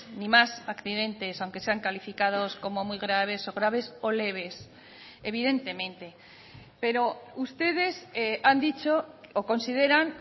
ni más accidentes aunque sean calificados como muy graves o graves o leves evidentemente pero ustedes han dicho o consideran